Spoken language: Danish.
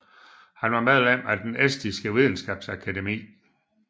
Han var medlem af den estiske videnskabsakademi